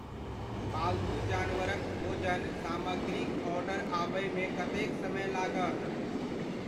पालतू जानवरक भोजन सामग्रीक ऑर्डर आबय मे कतेक समय लागत?